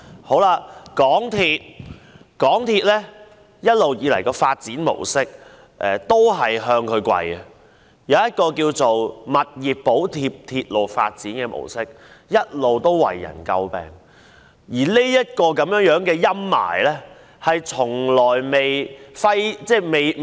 香港鐵路有限公司一直以來的發展模式，亦是向它下跪，以物業補貼鐵路發展的模式向來為人詬病，而這陰霾一直揮之不去。